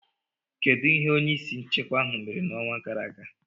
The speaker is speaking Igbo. Kedu ihe onye isi nchekwa ahụ mere n'ọnwa gara aga?